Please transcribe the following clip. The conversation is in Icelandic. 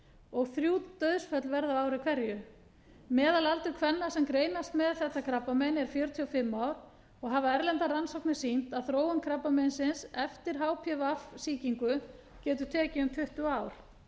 og þrjú dauðsföll verða á ári hverju meðalaldur kvenna sem greinast með þetta krabbamein er fjörutíu og fimm ár og hafa erlendar rannsóknir sýnt að þróun krabbameinsins eftir hpv sýkingu getur tekið um tuttugu ár enn fleiri konur greinast